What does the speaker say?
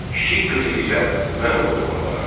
Kiçik qızı isə mən oğluma alaram.